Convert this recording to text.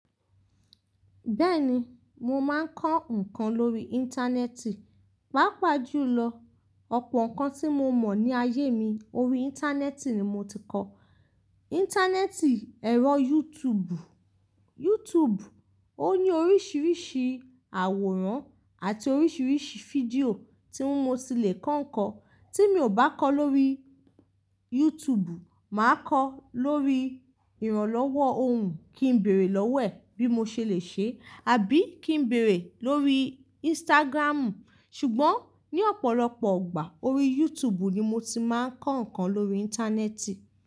Bẹ́ẹ̀ni, mo máa ń kọ́ ǹkan lórí Íńtánẹ́ẹ̀tì. Pápa jùlọ, ọ̀pọ̀ ǹkan tí mo mọ̀ ní ayé mi orí Íńtánẹ́ẹ̀tì ni mo ti kọ́. Íńtánẹ́ẹ̀tì, ẹ̀rọ Yútùùbù, Yútùùbù ó ní oríṣiríṣi àwòrán àti oríṣiríṣi fídíò tí mo ti le kọ́ ǹkan. Tí mi ò bá kọ́ lóri Yútùùbù, màá kọ́ lórí ìrànlọ́wọ́ ohùn kí ń bèèrè lọ́wo e bí mo ṣe le ṣe àbí kí ń bèèrè lórí Ìnsítágírámù. Ṣùgbọ́n ní ọ̀pọ̀lọpọ̀ ọgbà orí Yútùùbù ni mo ti máa ń kọ́ ǹkan lórí Íńtánẹ́ẹ̀tì.